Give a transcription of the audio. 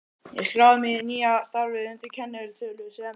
Ég skráði mig síðan í nýja starfið undir kennitölu sem